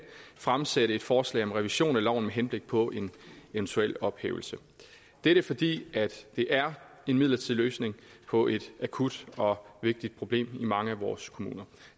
fremsætte et forslag om revision af loven med henblik på en eventuel ophævelse dette fordi det er en midlertidig løsning på et akut og vigtigt problem i mange af vores kommuner